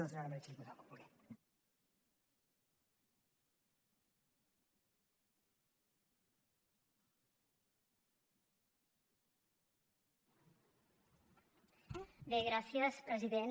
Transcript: bé gràcies president